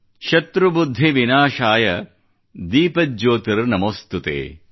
ಶತ್ರು ಬುದ್ಧಿ ವಿನಾಶಾಯ ದೀಪಜ್ಯೋತಿರ್ ನಮೋಸ್ತುತೇ